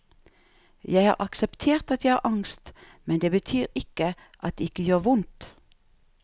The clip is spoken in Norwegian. Jeg har akseptert at jeg har angst, men det betyr ikke at det ikke gjør vondt.